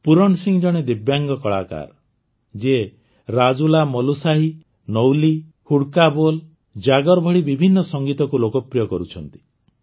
ପୂରଣ ସିଂ ଜଣେ ଦିବ୍ୟାଙ୍ଗ କଳାକାର ଯିଏ ରାଜୁଲାମଲୁଶାହି ନ୍ୟୌଲି ହୁଡ଼୍କା ବୋଲ୍ ଜାଗର୍ ଭଳି ବିଭିନ୍ନ ସଙ୍ଗୀତକୁ ଲୋକପ୍ରିୟ କରୁଛନ୍ତି